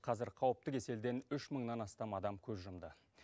қазір қауіпті кеселден үш мыңнан астам адам көз жұмды